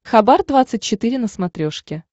хабар двадцать четыре на смотрешке